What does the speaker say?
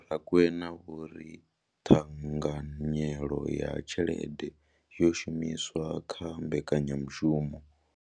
Vho Rakwena vho ri ṱhanganyelo ya tshelede yo shumiswaho kha mbekanyamushumo.